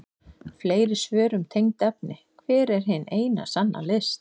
Fleiri svör um tengd efni: Hver er hin eina sanna list?